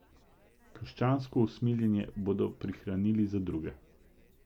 Krščansko usmiljenje bodo prihranili za druge.